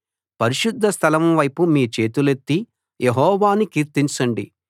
పరిశుద్ధ స్థలం వైపు మీ చేతులెత్తి యెహోవాను కీర్తించండి